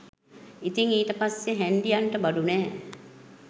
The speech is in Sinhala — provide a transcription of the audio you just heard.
ඉතිං ඊට පස්සේ හැන්ඩියන්ට බඩු නෑ